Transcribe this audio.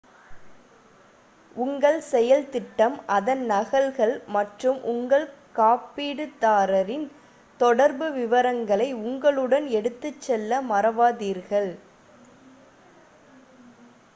உங்கள் செயல் திட்டம் அதன் நகல்கள் மற்றும் உங்கள் காப்பீடுதாரரின் தொடர்பு விவரங்களை உங்களுடன் எடுத்துச்செல்ல மறவாதீர்கள்